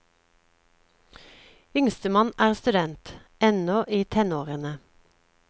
Yngstemann er student, ennå i tenårene.